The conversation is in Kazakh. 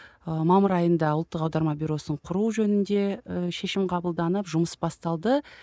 ы мамыр айында ұлттық аударма бюросын құру жөнінде і шешім қабылданып жұмыс басталды